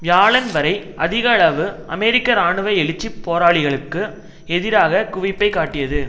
வியாழன் வரை அதிக அளவு அமெரிக்க இராணுவ எழுச்சி போராளிகளுக்கு எதிராக குவிப்பை காட்டியது